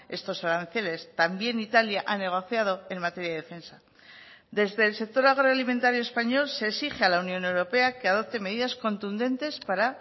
estos aranceles también italia ha negociado en materia de defensa desde el sector agroalimentario español se exige a la unión europea que adopte medidas contundentes para